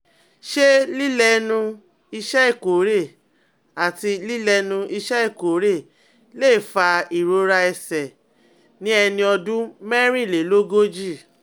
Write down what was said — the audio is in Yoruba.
Ṣé lílẹ́nu iṣẹ́ ìkórè àti lílẹ́nu iṣẹ́ ìkórè lè fa ìrora ẹsẹ̀ ní ẹni ọdún mẹ́rìnlélógójì?